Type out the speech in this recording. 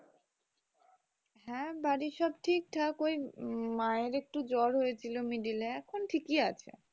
হ্যাঁ বাড়ির সব ঠিকঠাক ওই উম মায়ের একটু জ্বর হয়েছিল middle এ এখন ঠিকই আছে